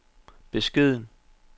beskeden